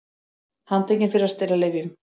Handtekin fyrir að stela lyfjum